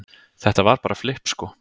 Þetta var bara flipp sko